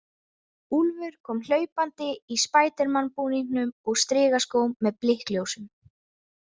Úlfur kom hlaupandi í spædermanbúningnum og strigaskóm með blikkljósum.